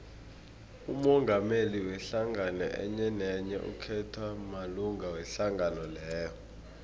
umongameli wehlangano enyenenye ukhethwa malunga wehlangano leyo